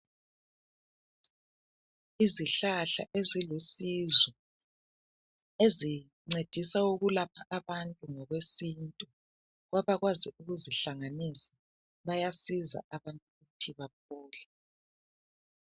Izihlahla ezilusizo ezincedisa ukulapha abantu ngokwesintu kwabakwazi ukuzihlanganisa, bayasiza abantu ukuthi baphole.